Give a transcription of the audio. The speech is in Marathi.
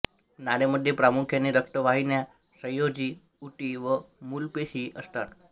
नाळेमध्ये प्रामुख्याने रक्तवाहिन्या संयोजी ऊती व मूलपेशी असतात